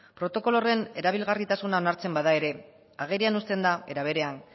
protokolo horren erabilgarritasuna onartzen bada ere agerian uzten da era berean